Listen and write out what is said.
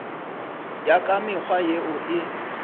ya ka mekgwa yeo e